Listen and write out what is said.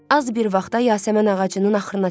Az bir vaxta yasəmən ağacının axırına çıxdı.